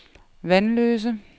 Vanløse